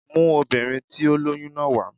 Mú obìnrin tí ó lóyún náà wà